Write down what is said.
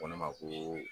Ko ne ma ko